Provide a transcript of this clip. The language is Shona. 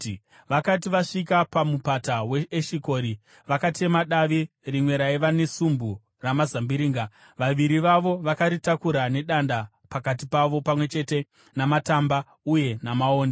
Vakati vasvika paMupata weEshikori, vakatema davi rimwe raiva nesumbu ramazambiringa. Vaviri vavo vakaritakura nedanda pakati pavo pamwe chete namatamba uye namaonde.